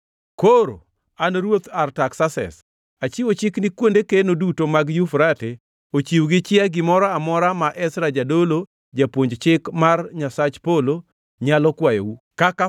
Koro an, Ruoth Artaksases, achiwo chik ni kuonde keno duto mag Yufrate ochiw gi chia gimoro amora ma Ezra jadolo, japuonj Chik mar Nyasach polo, nyalo kwayou, kaka